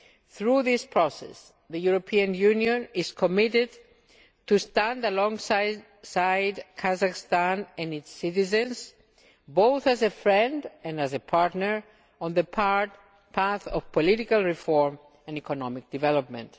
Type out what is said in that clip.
Through this process, the European Union is committed to standing alongside Kazakhstan and its citizens, both as a friend and as a partner, on the path of political reform and economic development.